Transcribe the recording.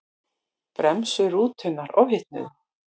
Bremsur rútunnar ofhitnuðu